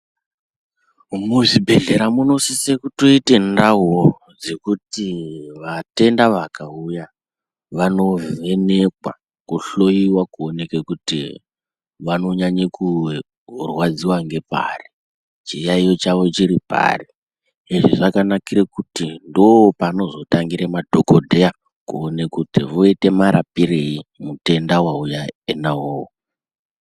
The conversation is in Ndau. Muzvibhedhlera munosise kutoite ndauwo dzekuti vatenda vakauyaa vanovhenekwaa, kuhloyiwaa kuonekee kuti vanonyanye kurwadziwa ngepari, chiyayiyo chavo chiri pari, izvi zvakanakire kuti ndoopanozotangire madhokodheyaa kuone kuti voita marapirei mutenda wauya enaa iwowo.